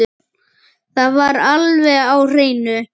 Það var alveg á hreinu!